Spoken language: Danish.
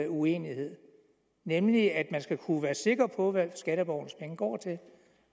uenighed nemlig at man skal kunne være sikker på hvad skatteborgernes penge går til